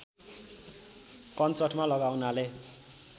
कञ्चटमा लगाउनाले